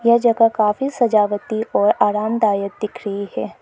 यह जगह काफी सजावटी और आरामदायक दिख रही है।